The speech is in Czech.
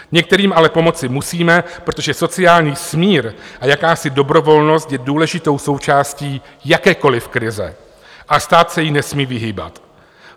Některým ale pomoci musíme, protože sociální smír a jakási dobrovolnost je důležitou součástí jakékoliv krize a stát se jí nesmí vyhýbat.